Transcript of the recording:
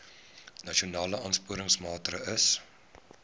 nasionale aansporingsmaatre ls